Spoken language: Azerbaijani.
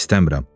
İstəmirəm.